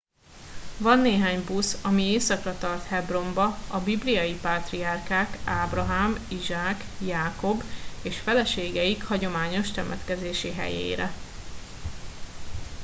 van néhány busz ami északra tart hebronba a bibliai pátriárkák ábrahám izsák jákob és feleségeik hagyományos temetkezési helyére